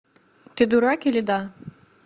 ты дурак или да